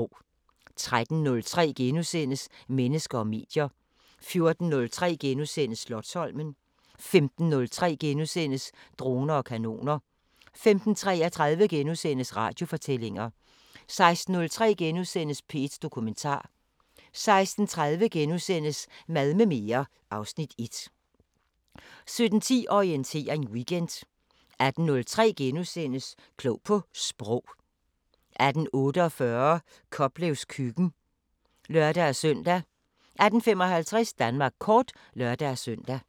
13:03: Mennesker og medier * 14:03: Slotsholmen * 15:03: Droner og kanoner * 15:33: Radiofortællinger * 16:03: P1 Dokumentar * 16:30: Mad med mere (Afs. 1) 17:10: Orientering Weekend 18:03: Klog på Sprog * 18:48: Koplevs køkken (lør-søn) 18:55: Danmark kort (lør-søn)